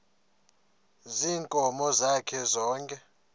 ziinkomo zakhe zonke